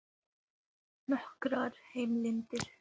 Nokkrar heimildir: